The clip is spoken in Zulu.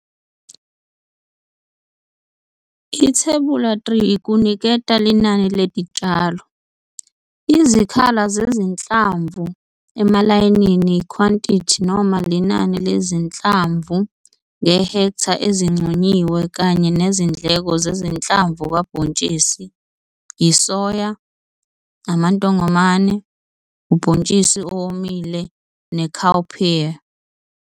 Ithebula 3 kuniketa linani letitshalo, izikhala zezinhlamvu emalayinini ikhwantithi noma linani lezinhlamvu ngehektha ezinconyiwe kanye nezindleko zezinhlamvu kabhontshisi isoya, amantongomane, ubhontshisi owomile ne-cowpea.